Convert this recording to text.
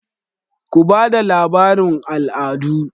Ku ba da labarun al'adu!